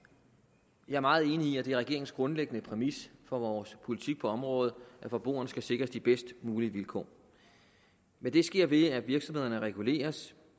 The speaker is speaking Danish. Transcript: jeg er meget enig i at det er regeringens grundlæggende præmis for vores politik på området at forbrugerne skal sikres de bedst mulige vilkår men det sker ved at virksomhederne reguleres